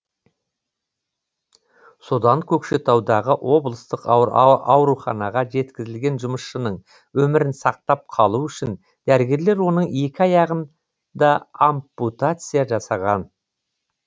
содан көкшетаудағы облыстық ауруханаға жеткізілген жұмысшының өмірін сақтап қалу үшін дәрігерлер оның екі аяғын да ампутация жасаған